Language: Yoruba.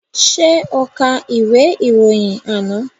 Ṣé o ka ìwé ìròyìn àná?